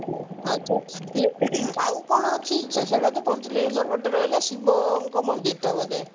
ଆଛା ଇଏ ଆଉ କଣ ଅଛି ସେଇଟା ତ ପଞ୍ଚଲିଙ୍ଗେଶ୍ଵର ଗୋଟେ ରହିଲା ଶିବଙ୍କ ମନ୍ଦିର ଟା ବୋଧେ